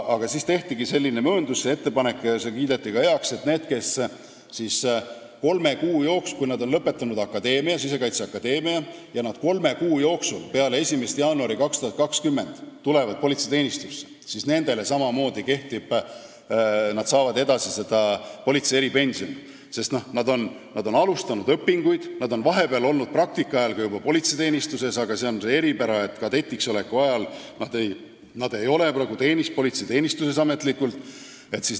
Tehtigi selline ettepanek ja see kiideti ka heaks, et need, kes on lõpetanud Sisekaitseakadeemia ja kolme kuu jooksul peale 1. jaanuari 2020 tulevad politseiteenistusse, saavad samamoodi seda eripensioni, sest nad on alustanud õpinguid ja nad on praktika ajal olnud politseiteenistuses, aga siin on see eripära, et kadetiks oleku ajal ei olda ametlikult politseiteenistuses.